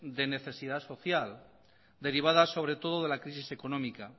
de necesidad social derivadas sobre todo de la crisis económico